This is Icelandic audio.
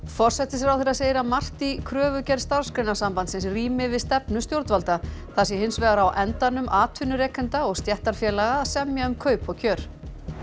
forsætisráðherra segir að margt í kröfugerð Starfsgreinasambandsins rími við stefnu stjórnvalda það sé hins vegar á endanum atvinnurekenda og stéttarfélaga að semja um kaup og kjör